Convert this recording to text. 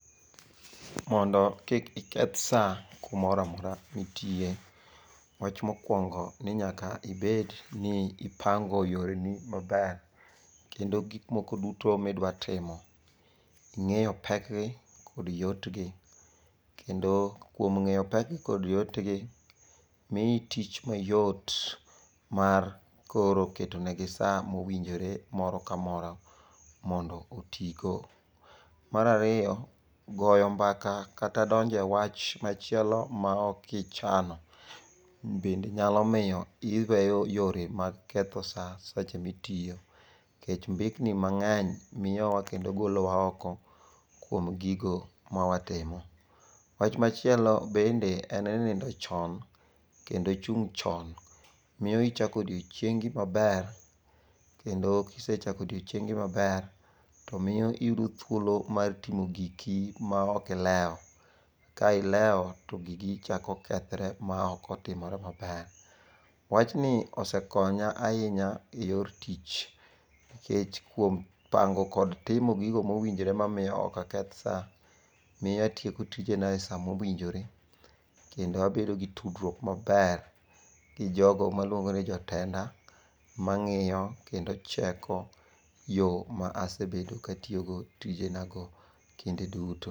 Mondo kik iketh sa kumoramora mitiye, wach mokwongo ninyaka ibed ni ipango yoreni maber. Kendo gik moko duto midwa timo ing'eyo pekgi kod yotgi. Kendo kuom ng'eyo pekgi kod yotgi, miyi tich mayot mar koro ketonegi sa mowinjore moro kamoro mondo otigo. Marariyo, goyo mbaka kata donje wach machielo ma okichano bende nyalo miyo iweyo yore mag ketho sa seche mitiyo. Nikech mbekni mang'eny miyowa kendo golowa oko kuom gigo mawatimo. Wach machielo bende en ni nindo chon kendo chung' chon miyo ichako odiochiengi maber. Kendo kisechako odiochiengi maber, to miyo iyudo thuolo mar timo giki maok ilewo. Ka ilewo to gigi chako kethre maok otimore maber. Wachni osekonya ahinya e yor tich. Nikech kuom pango kod timo gigo mowinjore mamiyo okaketh sa, miy oatieko tijena e sa mowinjore, kendo abedo gi tudruok maber gi jogo maluongo ni jotenda. Ma ng'iyo kendo cheko yo ma asebedo katiyogo tijena go kinde duto.